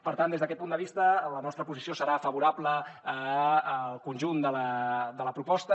per tant des d’aquest punt de vista la nostra posició serà favorable al conjunt de la proposta